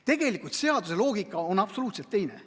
Tegelikult seaduse loogika on absoluutselt teine.